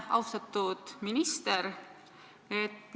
Austatud minister!